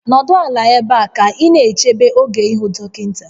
Nọdụ ala ebe a ka ị na-eche oge gị ịhụ dọkịta